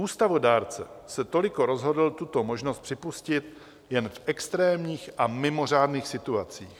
Ústavodárce se toliko rozhodl tuto možnost připustit jen v extrémních a mimořádných situacích.